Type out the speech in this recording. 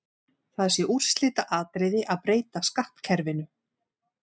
Það sé úrslitaatriði að breyta skattkerfinu.